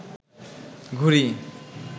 ঘুড়ি